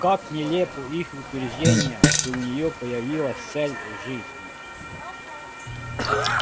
как нелепо их утверждение что у неё появилась цель жизни